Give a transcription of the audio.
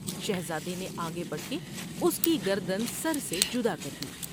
شہزادے نے آگے بڑھ کے اس کی گردان سر سے جدا کر دی ۔